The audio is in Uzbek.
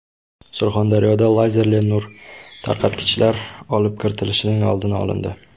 Surxondaryoda lazerli nur tarqatgichlar olib kirilishining oldi olindi.